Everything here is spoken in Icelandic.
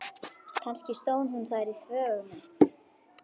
Kannski stóð hún þar í þvögunni.